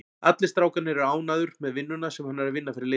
Allir strákarnir eru ánægður með vinnuna sem hann er að vinna fyrir liðið.